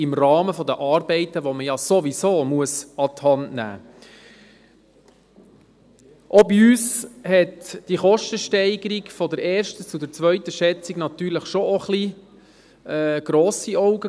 Auch wir machten ob der Kostensteigerung von der ersten zur zweiten Schätzung grosse Augen.